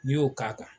N'i y'o k'a kan